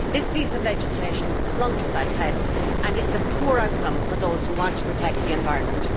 This piece of legislation flunks that test and is a poor outcome for those who want to protect the environment.